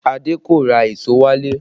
Adé kò ra èso wálé